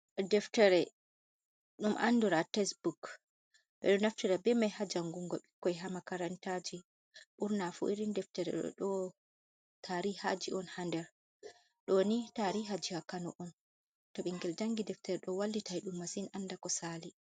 Deftere ɗum andura tesebuok ɓeɗo naftira be mai ha jangungo ɓikkoi ha makarantaji, burna fu irin deftere odo tari haji on ha nder ɗoni tariha jiha kano on to ɓingel jangi deftere ɗo wallitai ɗum massin anda ko Sali.